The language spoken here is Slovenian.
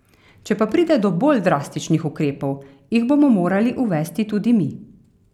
Če pa pride do bolj drastičnih ukrepov, jih bomo morali uvesti tudi mi.